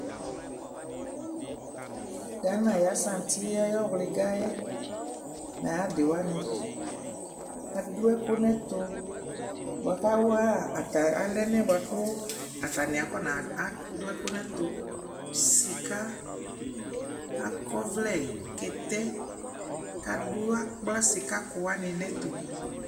Gana ayʋ asanti yɛ ayʋ ɔwlɩga yɛ nʋ ayʋ adɩ wanɩ Adʋ ɛkʋ nʋ ɛtʋ bʋa kʋ awa ata alɛna yɛ bʋa kʋ atanɩ akɔnadʋ ɛkʋ nʋ ɛtʋ, sɩka, akɔ ɔvlɛ, kɛtɛ kʋ adʋ akpla sɩkakʋ wanɩ nʋ ɛtʋ